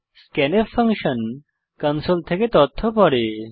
scanf function console থেকে তথ্য পড়ে